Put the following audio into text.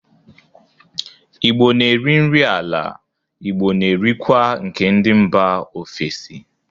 Igbo n'eri nri ala Igbo n'erikwa nke ndị mba ofesi